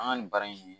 An ka nin baara in